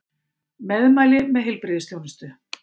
Meðmæli með heilbrigðisþjónustu